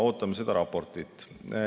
Ootame seda raportit.